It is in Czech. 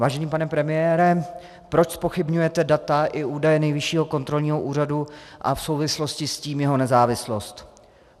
Vážený pane premiére, proč zpochybňujete data i údaje Nejvyššího kontrolního úřadu a v souvislosti s tím jeho nezávislost?